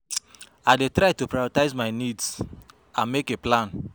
I dey try to prioritize my needs and make a plan.